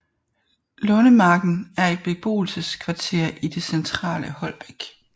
Lundemarken er et beboelseskvarter i det centrale Holbæk